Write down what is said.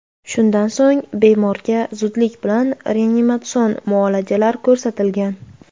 Shundan so‘ng, bemorga zudlik bilan reanimatsion muolajalar ko‘rsatilgan.